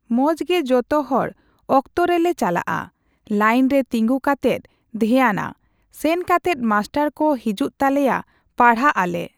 ᱢᱚᱸᱡᱽ ᱜᱮ ᱡᱚᱛᱚ ᱦᱚᱲ ᱚᱠᱛᱚ ᱨᱮᱞᱮ ᱪᱟᱞᱟᱜᱼᱟ ᱾ᱞᱟᱹᱭᱤᱱ ᱨᱮ ᱛᱤᱸᱜᱩ ᱠᱟᱛᱮᱫ ᱫᱷᱮᱭᱟᱱᱟ, ᱥᱮᱱ ᱠᱟᱛᱮᱫ ᱢᱟᱥᱴᱟᱨ ᱠᱚ ᱦᱤᱡᱩᱜ ᱛᱟᱞᱮᱭᱟ ᱯᱟᱲᱦᱟᱜ ᱟᱞᱮ᱾